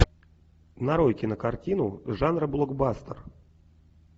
нарой кинокартину жанра блокбастер